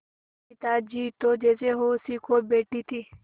सविता जी तो जैसे होश ही खो बैठी थीं